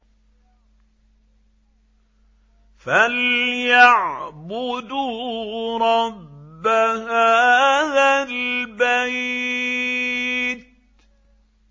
فَلْيَعْبُدُوا رَبَّ هَٰذَا الْبَيْتِ